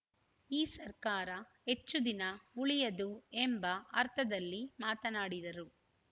ಈ ಸರ್ಕಾರ ಹೆಚ್ಚು ದಿನ ಉಳಿಯದು ಎಂಬ ಅರ್ಥದಲ್ಲಿ ಮಾತನಾಡಿದರು